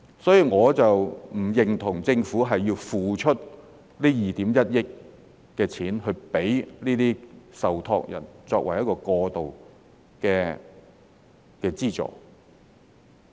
所以，我並不認同政府要付出這2億 1,000 萬元款項給這些受託人作為過渡的資助。